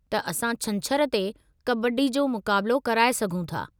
त असां छंछरु ते कबड्डी जो मुक़ाबिलो कराए सघूं थ॥